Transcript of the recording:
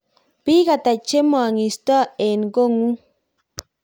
biik ata che meng'isot eng' kotng'ung?